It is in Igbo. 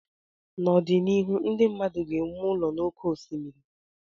N'ọdịnihu ndị mmadụ ga-ewu ụlọ n'oké osimiri